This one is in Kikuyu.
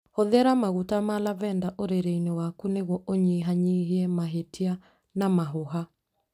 Hũthĩra maguta ma lavender ũrĩrĩ-inĩ waku nĩguo ũnyihanyihie mahĩtia na mahũha.